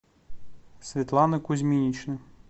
светланы кузьминичны